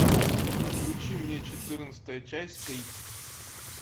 включи мне четырнадцатая часть крик